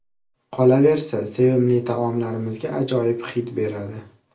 Qolaversa, sevimli taomlarimizga ajoyib hid beradi.